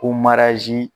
Ko marɛsi